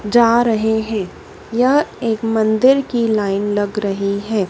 जा रहे हैं यह एक मंदिर की लाइन लग रही है।